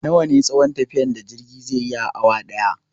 Nawa ne tsayon tafiyar da jirge zai yi a awa ɗaya?